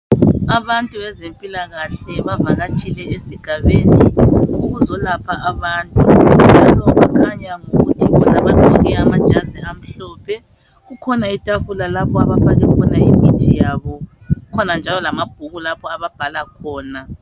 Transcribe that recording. Abantu bezempilakahle bavakatshile esigabeni ukuzo lapha abantu njalo kukhanya ngokuthi bona bagqoke amajazi amhlophe. Kukhona itafula lapho abafake khona imithi yabo. Kukhona njalo lamabhuku ababhala khona.